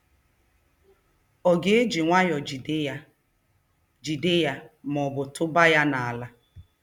Ọ ga-eji nwayọọ jide ya jide ya ma ọ bụ tụba ya n'ala?